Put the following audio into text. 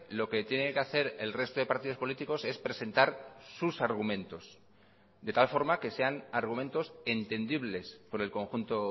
lo que tiene que hacer el resto de partidos políticos es presentar sus argumentos de tal forma que sean argumentos entendibles por el conjunto